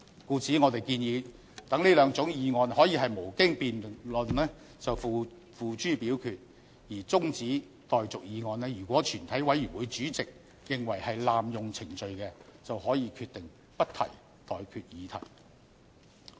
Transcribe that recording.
故此，我們建議讓這兩種議案可以無經辯論便付諸表決，而中止待續議案如果全體委員會主席認為是濫用程序，便可以決定不提出待決議題。